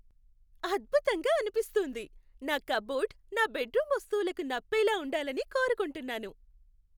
అద్భుతంగా అనిపిస్తుంది! నా కప్బోర్డ్ నా బెడ్రూమ్ వస్తువులకు నప్పేలా ఉండాలని కోరుకుంటున్నాను.